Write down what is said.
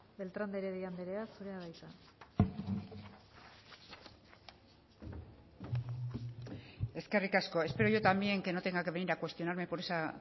beltrán de heredia andrea zurea da hitza eskerrik asko espero yo también que no tenga que venir a cuestionarme por esa